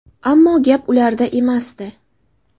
Ammo gap ularda emasdi.